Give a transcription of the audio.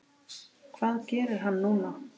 Hvað gerir hann núna?